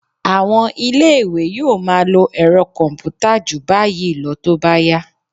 À̀wọn ilé-ìwé yóò máa lo ẹ̀rọ kọ̀m̀pútà jù báyìí lọ tó bá yá